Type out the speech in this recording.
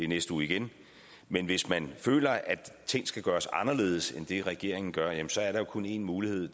næste uge igen men hvis man føler at ting skal gøres anderledes end det regeringen gør jamen så er der jo kun én mulighed